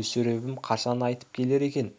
мүсіребім қашан қайтып келер екен